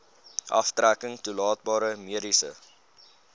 aftrekking toelaatbare mediese